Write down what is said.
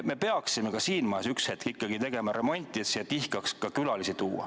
Me peaksime ka siin majas üks hetk remonti tegema, et tihkaks külalisi tuua.